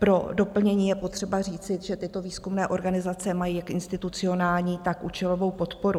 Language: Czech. Pro doplnění je potřeba říci, že tyto výzkumné organizace mají jak institucionální, tak účelovou podporu.